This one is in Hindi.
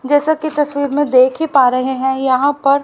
जैसा की तस्वीर में देखा ही पा रहे हैं यहां पर--